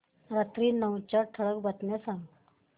रात्री नऊच्या ठळक बातम्या सांग